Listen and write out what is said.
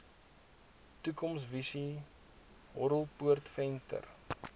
toekomsvisies horrelpoot venter